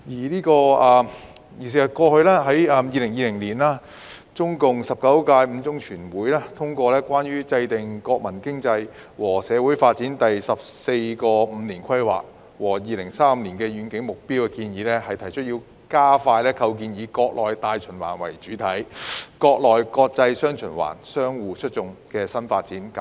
在2020年，中共第十九屆五中全會通過《中共中央關於制定國民經濟和社會發展第十四個五年規劃和2035年遠景目標的建議》，提出加快構建"以國內大循環為主體、國內國際'雙循環'相互促進"新發展格局。